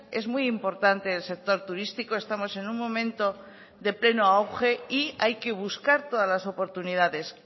es muy importante el sector turístico estamos en un momento de pleno auge y hay que buscar todas las oportunidades